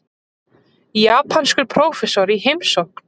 Japanskur prófessor í heimsókn.